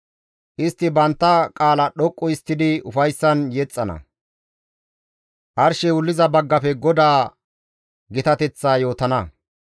Istti bantta qaalaa dhoqqu histtidi ufayssan yexxana; arshey wulliza baggafe GODAA gitateththa yootana.